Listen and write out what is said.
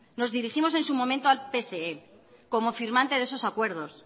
nos dirigimos en su momento al pse como firmante de esos acuerdos